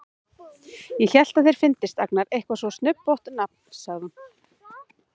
Ég hélt að þér fyndist Agnar eitthvað svo snubbótt nafn, sagði hún.